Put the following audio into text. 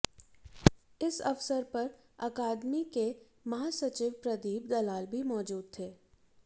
इस अवसर पर अकादमी के महासचिव प्रदीप दलाल भी मौजूद थे